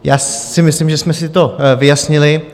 Já si myslím, že jsme si to vyjasnili.